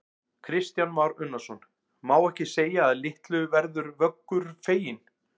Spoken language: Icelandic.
Kristján Már Unnarsson: Má ekki segja að litlu verður Vöggur feginn?